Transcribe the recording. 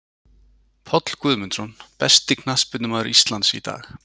Páll Guðmundsson Besti knattspyrnumaður Íslands í dag?